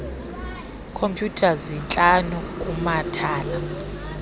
khompyutha zintlanu kumathala